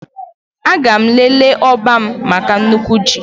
Aga m elele n'ọba m maka nnukwu ji